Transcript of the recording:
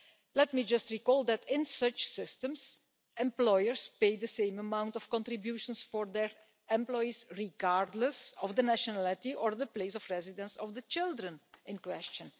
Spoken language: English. Let me just recall that in such systems, employers pay the same amount of contributions for their employees, regardless of the nationality or place of residence of the children in question.